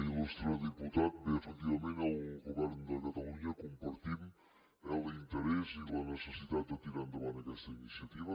il·lustre diputat bé efectivament el govern de catalunya compartim l’interès i la necessitat de tirar endavant aquesta iniciativa